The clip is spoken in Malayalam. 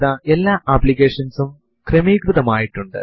Ctrl Alt t എന്ന കമാൻഡ് ഒരു ടെർമിനൽ ഉബുന്റു വിൽ തുടങ്ങാൻ സഹായിക്കും